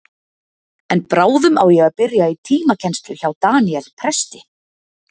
En bráðum á ég að byrja í tímakennslu hjá Daníel presti.